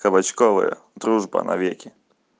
кабачковая дружба навеки